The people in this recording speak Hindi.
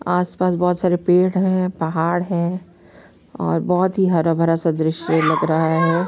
आस -पास बहुत सारे पेड़ है पहाड़ है और बहुत ही हरा-भरा सा दृश्य लग रहा है।